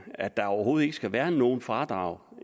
at der overhovedet ikke skal være nogen fradrag